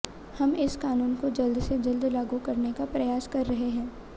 हम इस कानून को जल्द से जल्द लागू करने का प्रयास कर रहे हैं